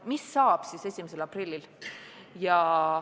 Mis saab siis 1. aprillil?